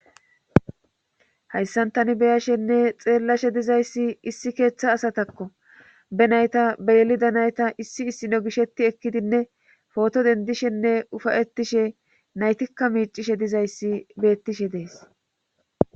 hayssantani beyashenne xeellashe dizayssi issi keeththa asatakko be nayta beylida nayta issi issino gishetti ekkidinne pooto dendishenne ufayettishe naytikka miicishe dizayssi beettishe dees